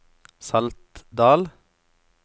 Saltdal